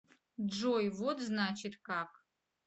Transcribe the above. джой вот значит как